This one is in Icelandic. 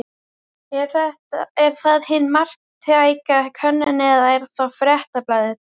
Er það hin marktæka könnun eða er það Fréttablaðið?